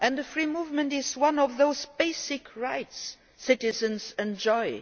Free movement is one of those basic rights citizens enjoy.